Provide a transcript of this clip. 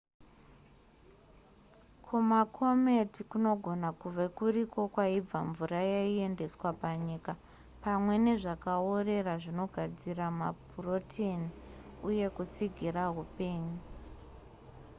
kumakometi kunogona kuve kuriko kwaibva mvura yaiendeswa panyika pamwe nezvakaorera zvinogadzira mapuroteni uye kutsigira upenyu